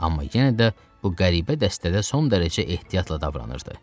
Amma yenə də bu qəribə dəstədə son dərəcə ehtiyatla davranırdı.